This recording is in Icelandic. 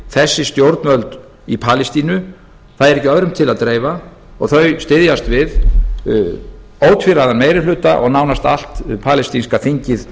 þessi stjórnvöld í palestínu það er ekki öðrum til að dreifa og þau styðjast við ótvíræðan meiri hluta og nánast allt palestínska þingið